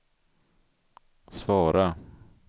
svara